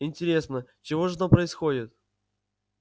интересно чего же там происходит